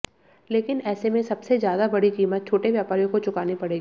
लेकिन ऐसे में सबसे ज्यादा बड़ी कीमत छोटे व्यापारियों को चुकानी पड़ेगी